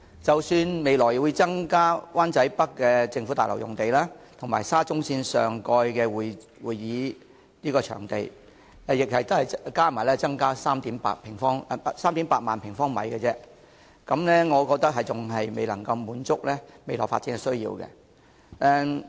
即使未來拆卸灣仔北的政府大樓並重建為會展設施，以及在沙中線會展站上蓋興建會展場地，兩者加起來亦只有38000平方米，我覺得仍然未能滿足未來的發展需要。